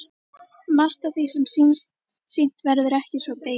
Margt af því sem sýnt verður er ekki svo beysið.